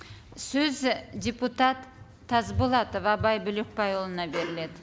сөз і депутат тасболатов абай бөлекбайұлына беріледі